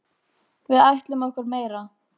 Við ætlum okkur meira.